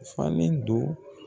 Falen don